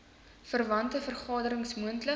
verwante vergaderings moontlik